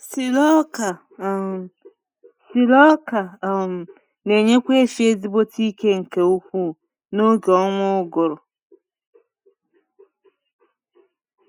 Silo ọka um Silo ọka um n’enyekwa efi ezigbote ike nke ukwu na oge ọnwa ụgụrụ